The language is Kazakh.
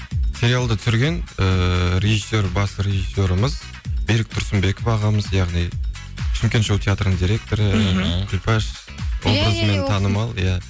сериалды түсірген ыыы режиссер басты режиссеріміз берік тұрсынбеков ағамыз яғни шымкент шоу театрының директоры мхм күлпәш образымен танымал иә